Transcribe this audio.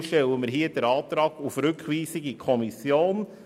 Deshalb stellen wir den Antrag auf Rückweisung in die Kommission.